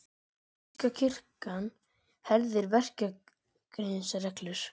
Þýska kirkjan herðir verklagsreglur